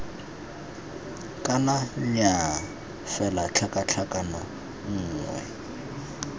kana nnyaa fela tlhakatlhakano nngwe